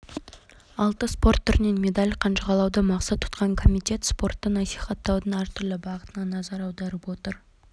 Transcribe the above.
алты спорт түрінен медаль қанжығалауды мақсат тұтқан комитет спортты насихаттаудың әртүрлі бағытына назар аударып отыр